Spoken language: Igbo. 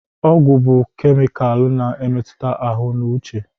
Ọgwụ bụ kemịkalụ na-emetụta ahụ na uche.